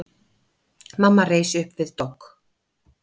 Mamma reis upp við dogg.